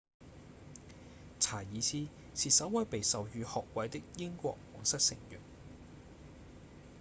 查爾斯是首位被授予學位的英國王室成員